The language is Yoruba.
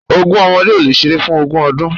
Ogún ọmọdé ò lè ṣeré fún ogún ọdún